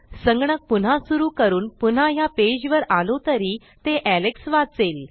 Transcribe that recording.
संगणक पुन्हा सुरू करून पुन्हा ह्या पेजवर आलो तरी ते Alexवाचेल